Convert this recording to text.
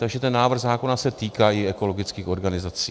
Takže ten návrh zákona se týká i ekologických organizací.